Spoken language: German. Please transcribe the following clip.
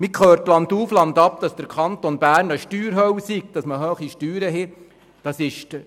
Man hört landauf, landab, dass der Kanton Bern eine Steuerhölle sei und hohe Steuern verlange.